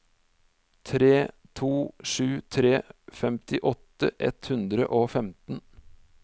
tre to sju tre femtiåtte ett hundre og femten